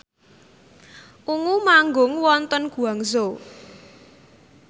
Ungu manggung wonten Guangzhou